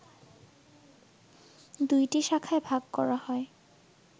দুইটি শাখায় ভাগ করা হয়